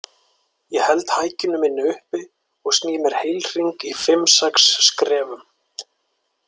Ég held hækjunni minni uppi og sný mér heilhring í fimm, sex skrefum.